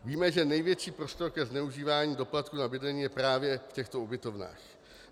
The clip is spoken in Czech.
Víme, že největší prostor ke zneužívání doplatku za bydlení je právě v těchto ubytovnách.